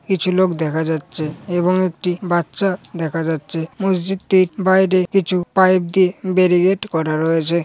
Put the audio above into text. কিছু লোক দেখা যাচ্ছে এবং একটি বাচ্চা দেখা যাচ্ছে মসজিদটির বাইরে কিছু পাইপ দিয়ে বেরি গেট করা রয়েছে।